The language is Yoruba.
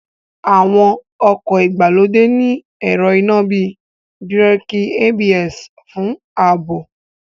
Àwọn ọkọ̀ ìgbàlódé ní ẹ̀rọ iná bíi Bíràkì ABS fún ààbò